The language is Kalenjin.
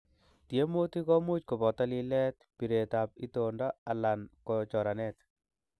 Tiemutik komuch koboto lilet, biretab itondo alan ko choranet.